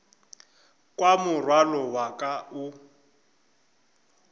kwa morwalo wa ka o